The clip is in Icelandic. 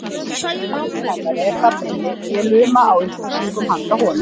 En maðurinn hennar er þarna inni og ég luma á upplýsingum handa honum.